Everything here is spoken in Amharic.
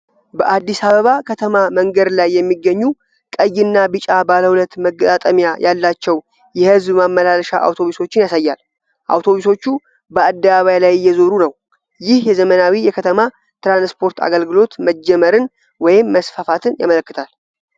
በአዲስ አበባ ከተማ መንገድ ላይ የሚገኙ ቀይና ቢጫ ባለሁለት መገጣጠሚያ ያላቸው የህዝብ ማመላለሻ አውቶቡሶችን ያሳያል። አውቶቡሶቹ በ አደባባይ ላይ እየዞሩ ነው። ይህ የዘመናዊ የከተማ ትራንስፖርት አገልግሎት መጀመርን ወይም መስፋፋትን ያመለክታል።